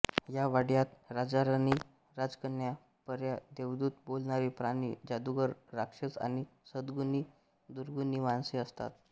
या वाङ्मयात राजाराणी राजकन्या पऱ्या देवदूत बोलणारे प्राणी जादुगार राक्षस आणि सद्गुणी दुर्गुणी माणसे असतात